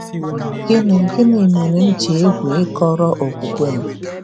Gịnị Gịnị Mere M Ji Egwu Ịkọrọ Okwukwe M?